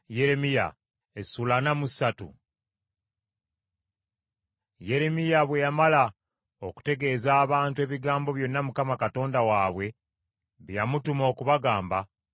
Yeremiya bwe yamala okutegeeza abantu ebigambo byonna Mukama Katonda waabwe bye yamutuma okubagamba,